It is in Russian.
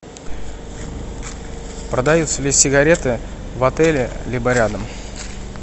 продаются ли сигареты в отеле либо рядом